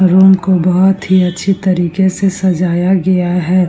Room को बहुत ही अच्छी तरीके से सजाया गया है ।